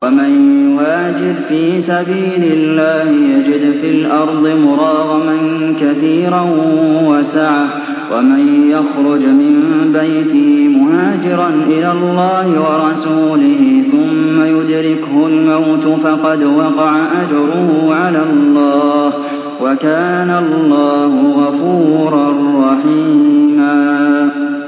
۞ وَمَن يُهَاجِرْ فِي سَبِيلِ اللَّهِ يَجِدْ فِي الْأَرْضِ مُرَاغَمًا كَثِيرًا وَسَعَةً ۚ وَمَن يَخْرُجْ مِن بَيْتِهِ مُهَاجِرًا إِلَى اللَّهِ وَرَسُولِهِ ثُمَّ يُدْرِكْهُ الْمَوْتُ فَقَدْ وَقَعَ أَجْرُهُ عَلَى اللَّهِ ۗ وَكَانَ اللَّهُ غَفُورًا رَّحِيمًا